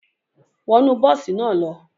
Wọnu bosi naa lo!